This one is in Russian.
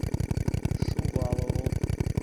шувалову